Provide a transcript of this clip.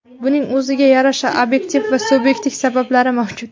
Buning o‘ziga yarasha obyektiv va subyektiv sabablari mavjud.